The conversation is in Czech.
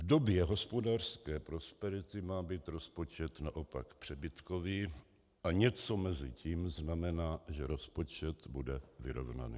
V době hospodářské prosperity má být rozpočet naopak přebytkový a něco mezi tím znamená, že rozpočet bude vyrovnaný.